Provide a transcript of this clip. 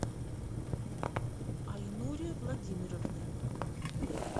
айнуре владимировне